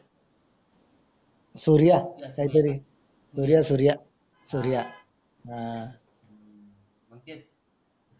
सूर्या काही तरी सूर्या सूर्या सूर्या आह